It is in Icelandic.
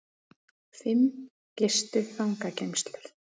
Fimm gistu fangageymslur